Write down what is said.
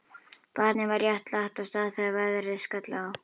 Barnið var rétt lagt af stað þegar veðrið skall á.